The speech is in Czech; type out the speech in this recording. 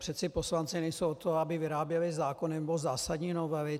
Přece poslanci nejsou od toho, aby vyráběli zákony nebo zásadní novely.